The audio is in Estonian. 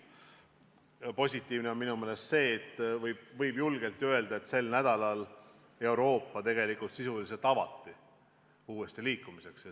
Aga positiivne on minu meelest see, et võib julgelt öelda, et sel nädalal Euroopa sisuliselt avati uuesti liikumiseks.